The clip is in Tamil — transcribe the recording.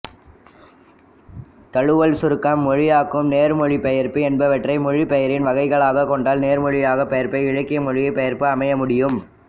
தழுவல் சுருக்கம் மொழியாக்கம் நேர்மொழிபெயர்ப்பு என்பவற்றை மொழிபெயர்ப்பின் வகைகளாகக் கொண்டால் நேர்மொழிபெயர்ப்பே இலக்கிய மொழிபெயர்ப்பாக அமைய முடியும்